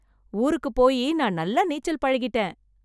ஊருக்கு போயி நான் நல்லா நீச்சல் பழகிட்டேன்